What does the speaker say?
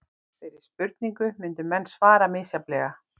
Þeirri spurningu myndu menn svara misjafnlega.